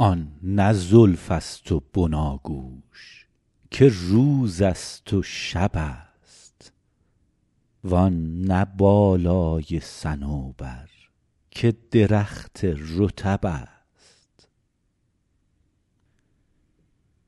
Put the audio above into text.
آن نه زلف است و بناگوش که روز است و شب است وآن نه بالای صنوبر که درخت رطب است